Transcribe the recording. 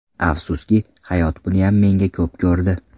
Afsuski, hayot buniyam menga ko‘p ko‘rdi.